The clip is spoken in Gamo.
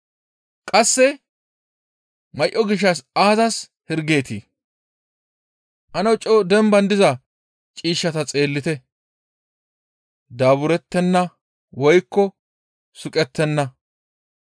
«Qasse may7o gishshas aazas hirgeetii? Ane coo demban diza ciishshata xeellite; daaburettenna woykko suqettenna.